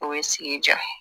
O ye sigi diya ye